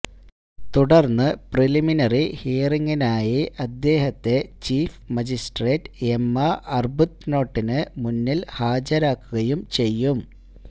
തുടര്ന്ന് പ്രീലിമിനറി ഹിയറിംഗിനായി അദ്ദേഹത്തെ ചീഫ് മജിസ്ട്രേറ്റ് എമ്മ ആര്ബുത്നോട്ടിന് മുന്നില് ഹാജരാക്കുകയും ചെയ്യും